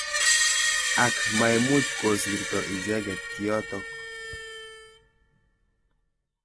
Ak maimuch kosirto icheket kiotok.